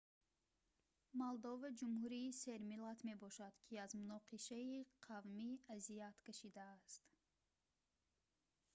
молдова ҷумҳурии сермиллат мебошад ки аз муноқишаи қавмӣ азият кашидааст